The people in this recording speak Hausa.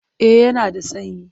Eh yana da sanyi.